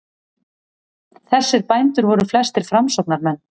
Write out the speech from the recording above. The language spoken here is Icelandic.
Þessir bændur voru flestir framsóknarmenn.